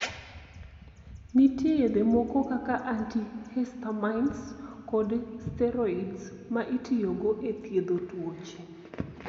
Nitie yedhe moko kaka antihistamines kod steroids ma itiyogo e thiedho tuoche.